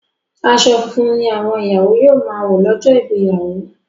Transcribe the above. aṣọ funfun ní àwọn ìyàwó yíò má wọ lójó Ìgbéyàwó